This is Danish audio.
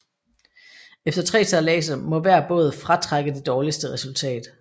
Efter tre sejladser må hver båd fratrække det dårligste resultat